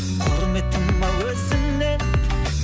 құрметтім ау өзіңнен